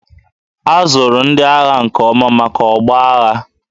A zụrụ ndị agha nke ọma maka ọgbọ agha